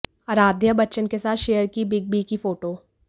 आराध्या बच्चन के साथ शेयर की बिग बी की फोटो